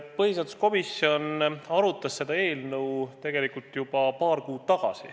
Põhiseaduskomisjon arutas seda eelnõu juba paar kuud tagasi.